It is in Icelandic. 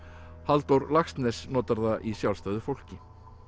Halldór Laxness notar það í sjálfstæðu fólki